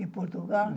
De Portugal?